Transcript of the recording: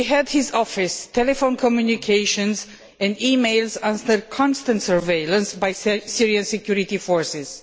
His office telephone communications and e mails were under constant surveillance by Syrian security forces.